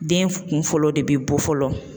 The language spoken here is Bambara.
Den kun fɔlɔ de bi bɔ fɔlɔ,